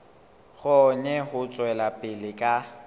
kgone ho tswela pele ka